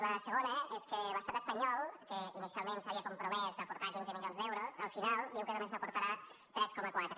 la segona és que l’estat espanyol que inicialment s’havia compromès a aportar quinze milions d’euros al final diu que només n’aportarà tres coma quatre